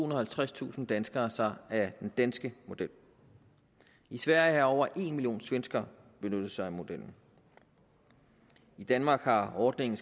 og halvtredstusind danskere sig af den danske model i sverige har over en million svenskere benyttet sig af modellen i danmark har ordningen